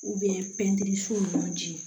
pɛntiri so ɲɔ ji